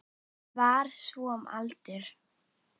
Var svo um aldir.